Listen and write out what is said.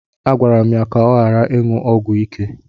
Agwara m ya ka ọ ghara ịṅụ ọgwụ ike.